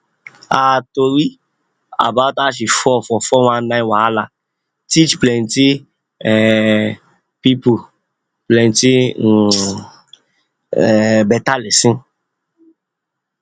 her tori about how she fall for 419 wahala teach plenty um people plenty um people better lesson